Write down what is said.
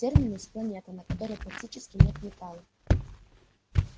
терминус планета на которой практически нет металлов